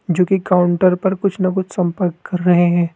जो कि काउंटर पर कुछ ना कुछ संपर्क कर रहे हैं।